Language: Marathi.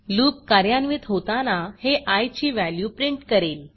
लूप कार्यान्वित होताना हे आय ची व्हॅल्यू प्रिंट करेल